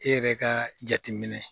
E yɛrɛ ka jateminɛ